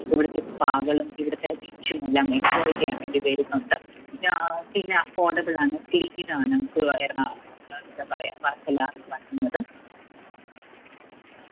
ഇവിടുത്തെ spa കളും ഇവിടുത്തെ beach ഉമെല്ലാം enjoy ചെയ്യാൻ വേണ്ടി വരുന്നുണ്ട്. പിന്നാ പിന്ന affordable ആണ്. clean ആണ് ഏർ എന്താ പറയാ വർക്കല വരുന്നത്